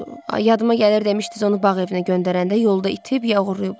Yadıma gəlir, demisiniz onu bağ evinə göndərəndə yolda itib ya oğurlayıblar.